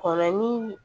Kɔnɔnin